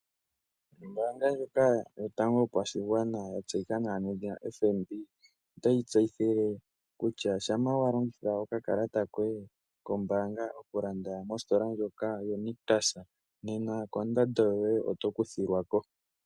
Ombaanga ndjika yotango yopashigwana yatseyika nawa nedhina FNB otayi tseyitha kutya shampa walongitha okakalata koye komayalulilo gombaanga mositola ndjoka yoNictus nena kondando yoye oto kuthilwa ko.